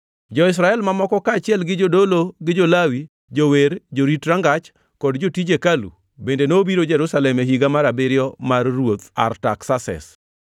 Jo-Israel mamoko, kaachiel gi jodolo, jo-Lawi, jower, jorit rangach kod jotij hekalu, bende nobiro Jerusalem e higa mar abiriyo mar Ruoth Artaksases.